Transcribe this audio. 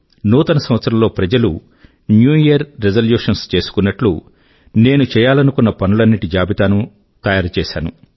నూతన సంవత్సరం లో ప్రజలు న్యూ యియర్ రిజల్యూషన్స్ చేసుకున్నట్లు నేను చేయాలనుకున్న పనులన్నింటి జాబితా ను నేను తయారు చేశాను